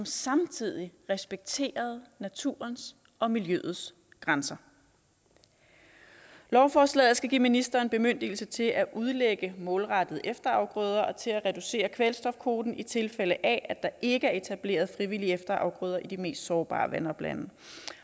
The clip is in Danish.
samtidig respekterede naturens og miljøets grænser lovforslaget skal give ministeren bemyndigelse til at udlægge målrettede efterafgrøder og til at reducere kvælstofkvoten i tilfælde af at der ikke er etableret frivillige efterafgrøder i de mest sårbare vandoplande